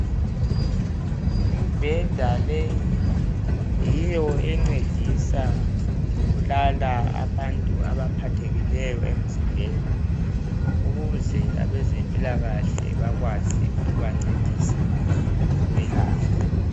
Imibheda leyi yiyo encedisa ukulala abantu abaphathekileyo emzimbeni ukuze abezempilakahle bakwazi ukubancedise ukubelapha.